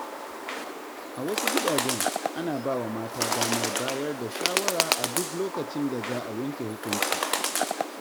A wasu gidajen, ana bawa mata damar bayar da shawara a duk lokacin da za a yanke hukunci.